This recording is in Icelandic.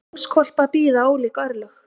Ljónshvolpa bíða ólík örlög.